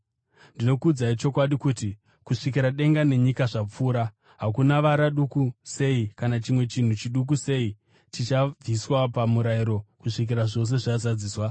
Ndinokuudzai chokwadi, kuti kusvikira denga nenyika zvapfuura, hakuna vara duku sei kana chimwe chinhu chiduku sei chichabviswa paMurayiro, kusvikira zvose zvazadziswa.